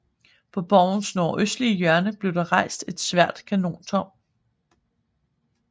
På borgens nordøstlige hjørne blev der rejst et svært kanontårn